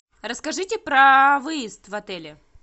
расскажите про выезд в отеле